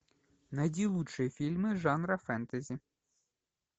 найди лучшие фильмы жанра фэнтези